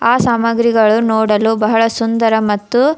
ಆ ಸಾಮಾಗ್ರಿಗಳು ನೋಡಲು ಬಹಳ ಸುಂದರ ಮತ್ತು --